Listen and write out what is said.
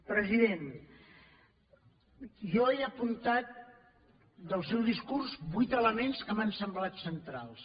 president jo he apuntat del seu discurs vuit elements que m’han semblat centrals